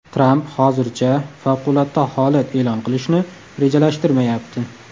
Tramp hozircha favqulodda holat e’lon qilishni rejalashtirmayapti.